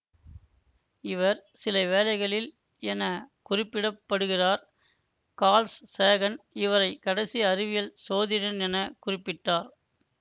இவர் சிலவேளைகளில் என குறிப்பிட படுகிறார் கார்ல் சேகன் இவரை கடைசி அறிவியற் சோதிடன் என குறிப்பிட்டார்